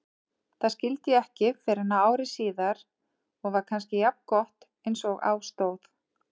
Það skildi ég ekki fyrren ári síðar og var kannski jafngott einsog á stóð.